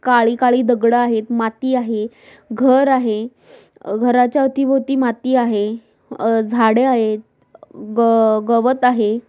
काळी-काळी दगड आहेत माती आहे घर आहे. घराच्या अवती भोवती माती आहे. अ झाड आहेत. ग गवत आहे.